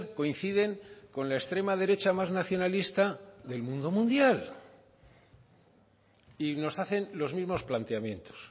coinciden con la extrema derecha más nacionalista del mundo mundial y nos hacen los mismos planteamientos